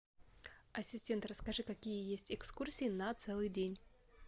ассистент расскажи какие есть экскурсии на целый день